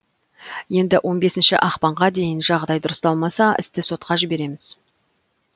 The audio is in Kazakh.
енді он бесінші ақпанға дейін жағдай дұрысталмаса істі сотқа жібереміз